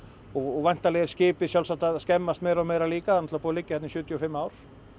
væntanlega er skipið að skemmast meira og meira líka það er búið að liggja þarna í sjötíu og fimm ár